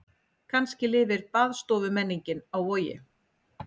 Kannski lifir baðstofumenningin á Vogi.